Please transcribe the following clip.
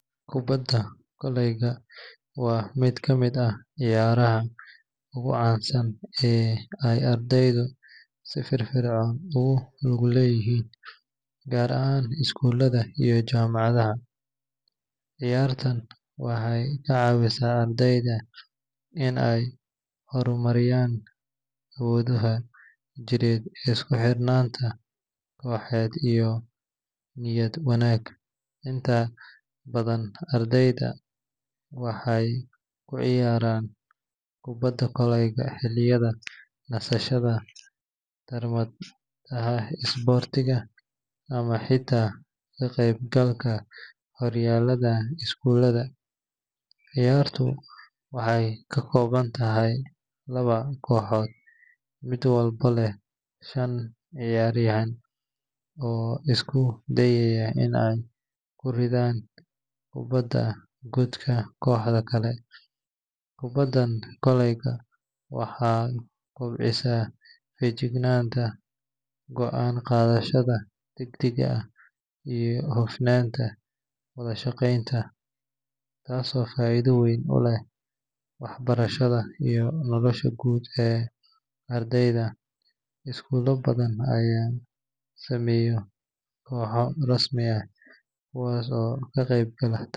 Kbadda kolayga wa midkamid ah ciyaaraha oo gucansan ey ardeydu si firfircon ey ogulugleyihin gaar ahaan iskuladha iyo jamacadhaha. Ciyartan waxey kacaawisa ardeya in ey hormariyaan awoodhaha jirka iskuxirnaanta qoxed iyo niyad wanaa . Inta badan ardeyda waxey kuciyaraan kubada kolaya xiliga nasashada tarmad sportia ama xita kaqeyb alka horyaaladha iskuuladha. Ciyaartu waxey kakoobantahy laba koxood mid walbo leh shan ciyariyan oo iskudayay in ey kuridhan kubada godka qoxda kale. Kubadan kolayga waxey kubcisa fijicnanta goaan qadhashadha dagdaga ah iyo hofnaanta wadha shaqeynta taas oo faidha weyn uleh waxbarashadha iyo nolosha guud ee ardeyda. Iskula badhan ayaa sameeyo qooho rasmi ah kuwaas oo kaqeyb gala.